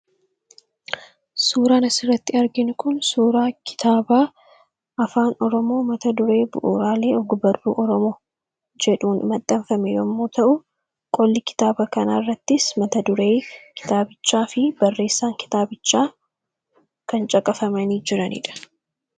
Suuraa kanaa gadii irratti kan argamu kitaaba afaan Oromoo yammuu ta'u mata dureen isaas bu'uuraalee og-barruu Oromoo kan jedhuu fi barreessaan kitaabichaa caqafamee kan jiru dha.